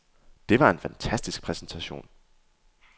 Det var en fantastisk præsentation.